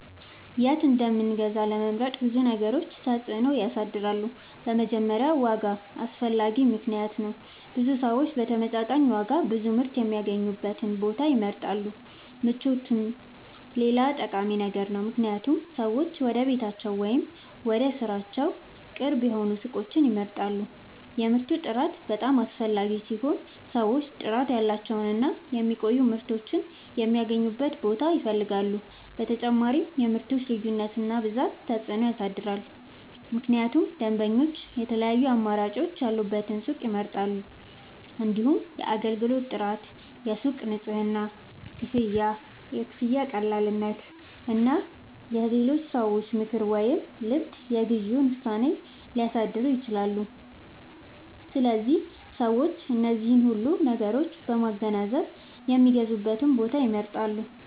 የት እንደምንገዛ ለመምረጥ ብዙ ነገሮች ተጽዕኖ ያሳድራሉ። በመጀመሪያ ዋጋ አስፈላጊ ምክንያት ነው፤ ብዙ ሰዎች በተመጣጣኝ ዋጋ ጥሩ ምርት የሚያገኙበትን ቦታ ይመርጣሉ። ምቾትም ሌላ ጠቃሚ ነገር ነው፣ ምክንያቱም ሰዎች ወደ ቤታቸው ወይም ወደ ሥራቸው ቅርብ የሆኑ ሱቆችን ይመርጣሉ። የምርቱ ጥራት በጣም አስፈላጊ ሲሆን ሰዎች ጥራት ያላቸውን እና የሚቆዩ ምርቶችን የሚያገኙበትን ቦታ ይፈልጋሉ። በተጨማሪም የምርቶች ልዩነት እና ብዛት ተጽዕኖ ያሳድራል፣ ምክንያቱም ደንበኞች የተለያዩ አማራጮች ያሉበትን ሱቅ ይመርጣሉ። እንዲሁም የአገልግሎት ጥራት፣ የሱቁ ንጽህና፣ የክፍያ ቀላልነት እና የሌሎች ሰዎች ምክር ወይም ልምድ የግዢ ውሳኔን ሊያሳድሩ ይችላሉ። ስለዚህ ሰዎች እነዚህን ሁሉ ነገሮች በማገናዘብ የሚገዙበትን ቦታ ይመርጣሉ።